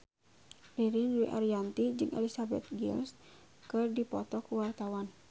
Ririn Dwi Ariyanti jeung Elizabeth Gillies keur dipoto ku wartawan